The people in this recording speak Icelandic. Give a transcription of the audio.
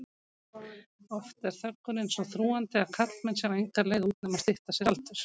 Oft er þöggunin svo þrúgandi að karlmenn sjá enga leið út nema stytta sér aldur.